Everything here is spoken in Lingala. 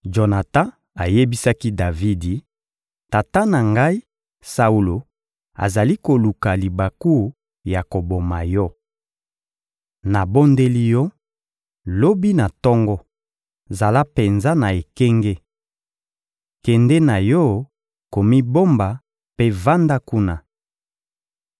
Jonatan ayebisaki Davidi: «Tata na ngai, Saulo, azali koluka libaku ya koboma yo. Nabondeli yo, lobi na tongo, zala penza na ekenge! Kende na yo komibomba mpe vanda kuna.